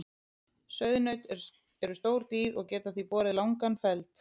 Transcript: Sauðnaut eru stór dýr og geta því borið langan feld.